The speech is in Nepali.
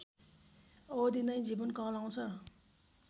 अवधि नै जीवन कहलाउँछ